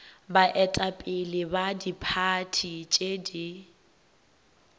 baetapele ba diphathi tše di